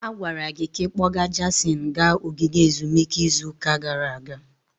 A gwara gị ka ị kpọga Jason gaa ogige ezumike izu ụka gara aga.